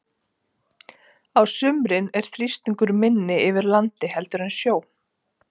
Á sumrin er þrýstingur minni yfir landi heldur en sjó.